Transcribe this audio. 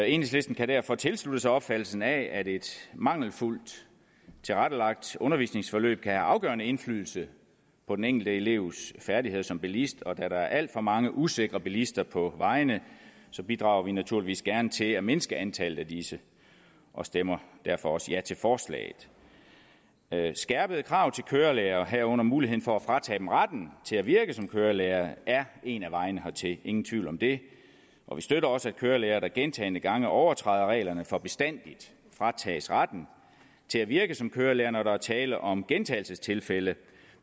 enhedslisten kan derfor tilslutte sig opfattelsen af at et mangelfuldt tilrettelagt undervisningsforløb kan have afgørende indflydelse på den enkelte elevs færdigheder som bilist og da der er alt for mange usikre bilister på vejene bidrager vi naturligvis gerne til at mindske antallet af disse og stemmer derfor også ja til forslaget skærpede krav til kørelærere og herunder muligheden for at fratage dem retten til at virke som kørelærer er en af vejene hertil ingen tvivl om det vi støtter også at kørelærere der gentagne gange overtræder reglerne for bestandigt fratages retten til at virke som kørelærer altså når der er tale om gentagelsestilfælde